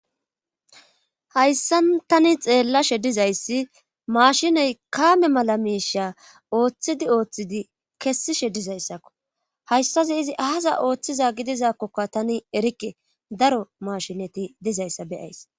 hayssa tani xeellashe dizayssi maashinoy kaame mala miisha ooththidi ooththidi kessishe dizayssakko hayssazi izi ahaza ooththiza gidizakkokka tani erikke daro mashineti dizayssa be'ays